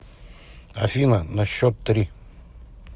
афина на счет три